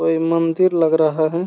कोई मंदिर लग रहा है।